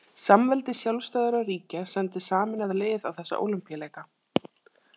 Samveldi sjálfstæðra ríkja sendi sameinað lið á þessa ólympíuleika.